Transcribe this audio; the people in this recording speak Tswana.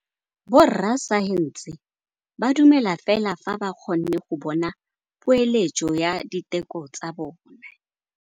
Borra saense ba dumela fela fa ba kgonne go bona poeletsô ya diteko tsa bone.